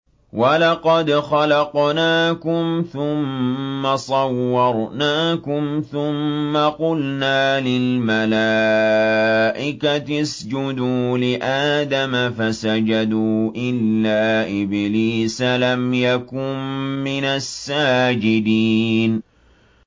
وَلَقَدْ خَلَقْنَاكُمْ ثُمَّ صَوَّرْنَاكُمْ ثُمَّ قُلْنَا لِلْمَلَائِكَةِ اسْجُدُوا لِآدَمَ فَسَجَدُوا إِلَّا إِبْلِيسَ لَمْ يَكُن مِّنَ السَّاجِدِينَ